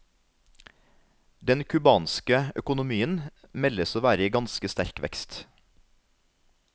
Den cubanske økonomien meldes å være i ganske sterk vekst.